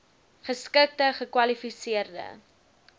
geskikte gekwali seerde